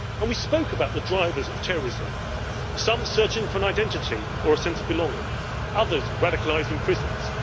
We spoke about the drivers of terrorism some searching for an identity or a sense of belonging, others radicalised in prisons